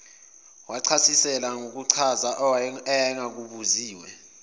wathasisela nangokuchaza ayengakubuziwe